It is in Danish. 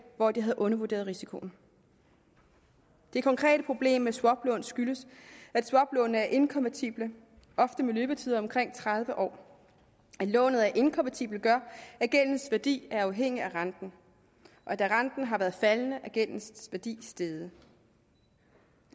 hvor de havde undervurderet risikoen det konkrete problem med swaplån skyldes at swaplånene er inkonvertible ofte med løbetider på omkring tredive år at lånet er inkonvertibelt gør at gældens værdi er afhængigt af renten og da renten har været faldende er gældens værdi steget